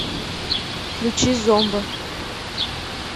включи зомба